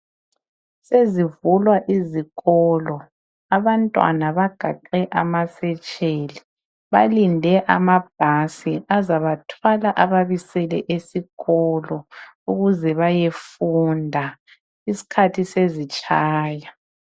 Sezivulwa izikolo abantwana bagaxe izikhwama balinde amabhasi azabathwala ababisele esikolo ukuze bayefunda iskhathi sezitshaya.